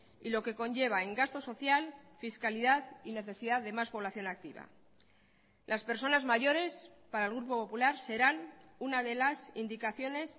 y lo que conlleva en gasto social fiscalidad y necesidad de más población activa las personas mayores para el grupo popular serán una de las indicaciones